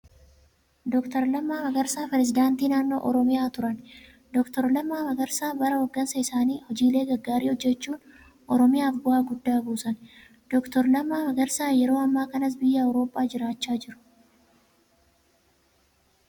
Doctor Lammaa Magarsaa, Pirisidaantii naannoo Oromiyaa turan. Doctor Lammaa Magarsaa bara hoggansa isaanii hojiilee gaggaarii hojjachuun Oromiyaaf bu'aa guddaa buusan. Doctor Lammaa Magarsaa yeroo ammaa kanas biyya Awurooppaa jiraachaa jiru.